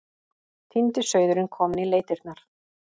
Týndi sauðurinn kominn í leitirnar.